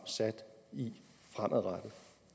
sat i fremadrettet